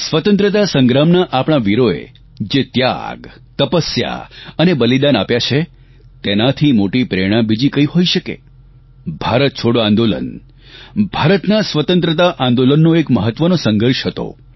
સ્વતંત્રતા સંગ્રામના આપણા વીરોએ જે ત્યાગ તપસ્યા અને બલિદાન આપ્યાં છે તેનાથી મોટી પ્રેરણા બીજી કઇ હોઇ શકે ભારત છોડો આંદોલન ભારતના સ્વતંત્રતા આંદોલનનો એક મહત્વનો સંઘર્ષ હતો